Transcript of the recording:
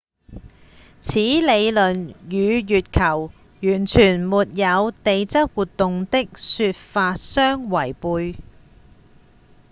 此理論與月球完全沒有地質活動的說法相違悖